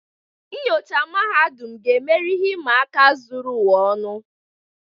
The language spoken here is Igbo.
Nnyocha mahadum, ga-emeri ihe ịma aka zuru ụwa ọnụ.